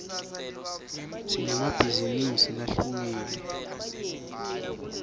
sinemabhizinisi lahlukile